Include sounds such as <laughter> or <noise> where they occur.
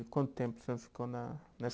E quanto tempo <unintelligible> ficou na nessa